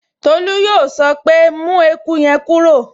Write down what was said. Tolú yóò sọ pé, 'mú eku yẹn kúrò'